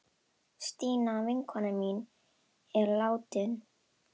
Stína vinkona mín er látin.